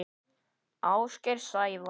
Ásgeir Sævar.